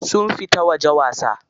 Sun fita waje wasa.